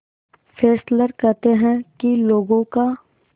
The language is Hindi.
फेस्लर कहते हैं कि लोगों का